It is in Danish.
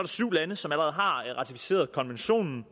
syv lande som allerede har ratificeret konventionen